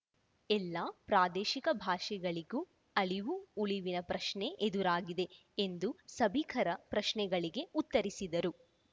ಎಲ್ಲಾ ಪ್ರಾದೇಶಿಕ ಭಾಷೆಗಳಿಗೂ ಅಳಿವು ಉಳಿವಿನ ಪ್ರಶ್ನೆ ಎದುರಾಗಿದೆ ಎಂದು ಸಭಿಕರ ಪ್ರಶ್ನೆಗಳಿಗೆ ಉತ್ತರಿಸಿದರು